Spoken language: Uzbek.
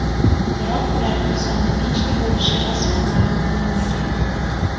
Biroq ularning soni nechta bo‘lishi rasman ma’lum qilinmagan.